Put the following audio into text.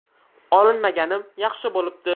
Olinmaganim yaxshi bo‘libdi.